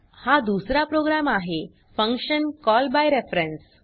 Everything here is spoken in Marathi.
हा दुसरा प्रोग्राम आहे फंक्शन कॉलबायरफरन्स